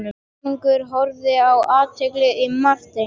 Konungur horfði með athygli á Martein.